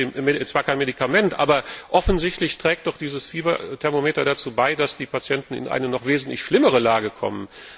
Es ist zwar kein Medikament, aber offensichtlich trägt dieses Fieberthermometer dazu bei, dass die Patienten in eine noch wesentlich schlimmere Lage kommen.